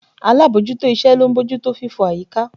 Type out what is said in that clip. Alábòójútó iṣẹ́ ló ń bójú tó fífọ̀ àyíká